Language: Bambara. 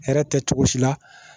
Hɛrɛ tɛ cogo si la